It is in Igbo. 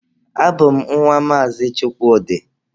Abụ m nwa Maazị Chukwudi.